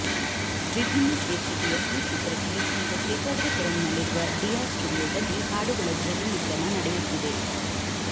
ವಿಭಿನ್ನ ಶೀರ್ಷಿಕೆಯ ಈ ಚಿತ್ರಕ್ಕೆ ಈಗ ಶೇಷಾದ್ರಿಪುರಂನಲ್ಲಿರುವ ಡಿಯಾ ಸ್ಟೂಡಿಯೋದಲ್ಲಿ ಹಾಡುಗಳ ಧ್ವನಿಮುದ್ರಣ ನಡೆಯುತ್ತಿದೆ